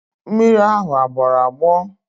Mmiri ahụ agbọrọ agbọ?